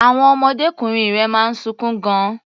Àwon ọmọdékùnrin rẹ̀ máa ń sunkún gan-an.